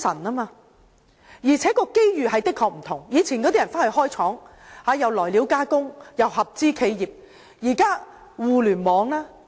大家以往會到內地開設廠房、來料加工和合資企業，但現在有互聯網。